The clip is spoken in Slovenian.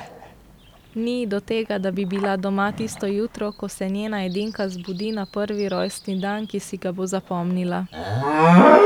Ni ji do tega, da bi bila doma tisto jutro, ko se njena edinka zbudi na prvi rojstni dan, ki si ga bo zapomnila.